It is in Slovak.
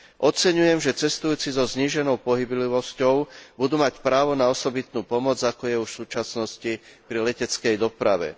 Oceňujem, že cestujúci so zníženou pohyblivosťou budú mať právo na osobitnú pomoc, ako je už v súčasnosti pri leteckej doprave.